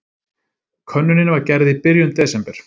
Könnunin var gerð í byrjun desember